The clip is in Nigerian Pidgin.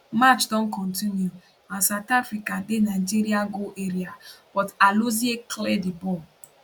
match don continue and south africa dey nigeria goal area but alozie clear di ball